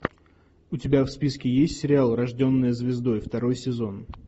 у тебя в списке есть сериал рожденная звездой второй сезон